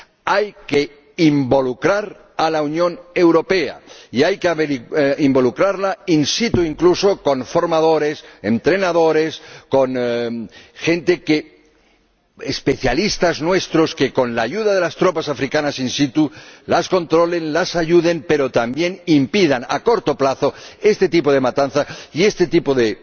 hay que involucrar a la Unión Europea y hay que involucrarla in situ incluso con formadores, entrenadores, con especialistas nuestros que, con ayuda de las tropas africanas in situ las controlen, las ayuden, pero también que impidan a corto plazo este tipo de matanzas y este tipo de